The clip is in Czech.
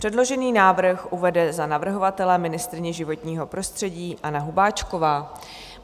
Předložený návrh uvede za navrhovatele ministryně životního prostředí Anna Hubáčková.